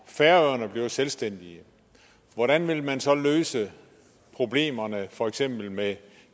færøerne bliver selvstændige hvordan vil man så løse problemerne for eksempel med